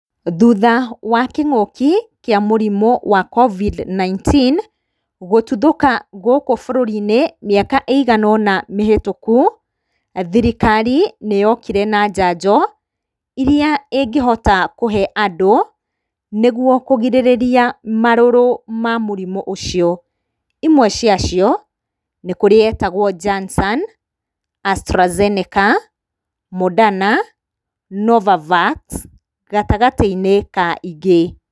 Thutha wa kĩng'ũki kĩa mũrimũ wa covid 19 gũtuthũka gũkũ bũrũri-inĩ mĩaka ĩigana ũna mĩhĩtũku, thirikari nĩyokire na njanjo iria ĩngĩhota kũhe andũ, nĩguo kũgirĩrĩria marũrũ ma mũrimũ ũcio. Imwe ciacio, nĩkũrĩ yetagwo jansan, astrazeneka, moderna, novavat, gatagatĩ-inĩ ka ingĩ.